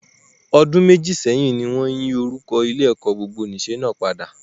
Ọdún méjì sẹ́yìn ni wọ́n yí orúkọ Ilé-ẹ̀kọ́ gbogbonìṣe náà padà.